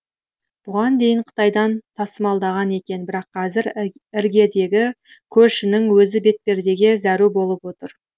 бұған дейін қытайдан тасымалдаған екен бірақ қазір іргедегі көршінің өзі бетпердеге зәру болып отыр